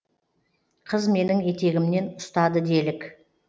қыз менің етегімнен ұстады делік